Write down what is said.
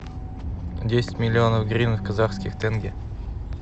десять миллионов гривен в казахских тенге